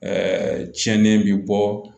Ɛɛ cɛnni bɛ bɔ